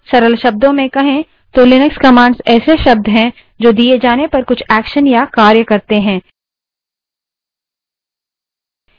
सरल शब्दों में कहें तो लिनक्स commands ऐसे शब्द हैं जो दिए जाने पर कुछ actions या कार्य करते हैं